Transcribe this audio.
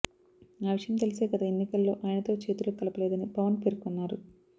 ఆ విషయం తెలిసే గత ఎన్నికల్లో ఆయనతో చేతులు కలపలేదని పవన్ పేర్కొన్నారు